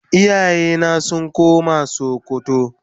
iyaye na sun koma sokoto.